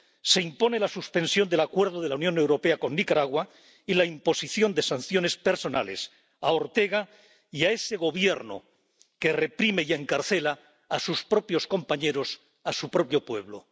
Se impone la suspensión del Acuerdo de la Unión Europea con Nicaragua y la imposición de sanciones personales a Daniel Ortega y a ese Gobierno que reprime y encarcela a sus propios compañeros, a su propio pueblo.